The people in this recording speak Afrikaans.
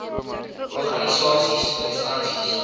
s organisasies instansies